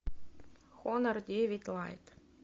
хонор девять лайт